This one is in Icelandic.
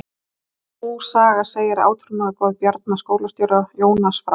Sú saga segir að átrúnaðargoð Bjarna skólastjóra, Jónas frá